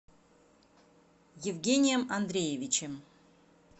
евгением андреевичем